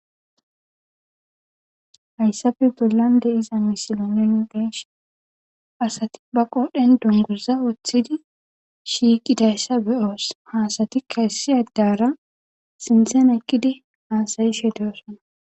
Haysappe bollan diza misile nun be'ishn asat be qodhen dunguza wothid shiqidaysa beyos he asatika issi adara sinthen Eqid hasa'ashe dosona.